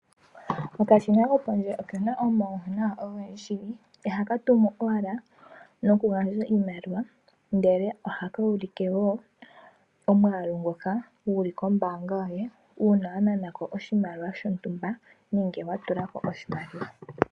Okashina kopondje okena omauwanawa ogendji ihaka tumu owala nokugandja iimaliwa, ndele ohaku ulike wo omwaalu ngoka guli kombaanga yoye uuna wanana ko oshimaliwa shontumba nenge watula ko oshimaliwa.